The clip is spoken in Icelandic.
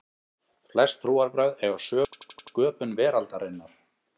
flest trúarbrögð eiga sögur af sköpun veraldarinnar